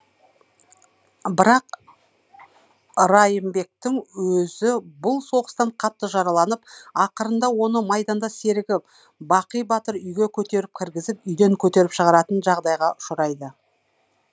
бірақ ырайымбектің өзі бұл соғыстан қатты жараланып ақырында оны майдандас серігі бақый батыр үйге көтеріп кіргізіп үйден көтеріп шығаратын жағдайға ұшырайды